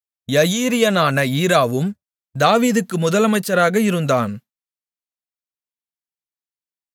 யயீரியனான ஈராவும் தாவீதுக்கு முதலமைச்சராக இருந்தான்